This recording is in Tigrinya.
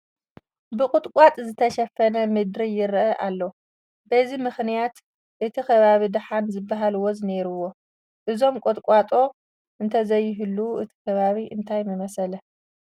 ብቑጥቋጦታት ዝተሸፈነ ምድሪ ይርአ ኣሎ፡፡ በዚ ምኽንያት እቲ ከባቢ ደሓን ዝበሃል ወዝ እኔዎ፡፡ እዞም ቁጥቋጦ እንተዘይህልዉ እቲ ከባቢ እንታይ ምመሰለ?